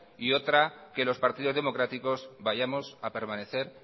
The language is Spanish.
y otra que los partidos democráticos vayamos a permanecer